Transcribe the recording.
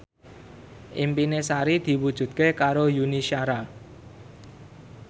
impine Sari diwujudke karo Yuni Shara